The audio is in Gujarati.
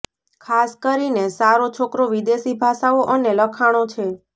ખાસ કરીને સારો છોકરો વિદેશી ભાષાઓ અને લખાણો છે